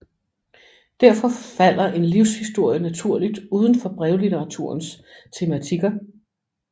Derfor falder en livshistorie naturligt uden for brevlitteraturens tematikker